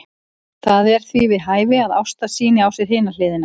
Það er því við hæfi að Ásta sýni á sér hina hliðina.